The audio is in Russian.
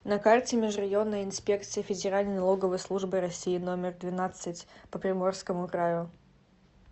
на карте межрайонная инспекция федеральной налоговой службы россии номер двенадцать по приморскому краю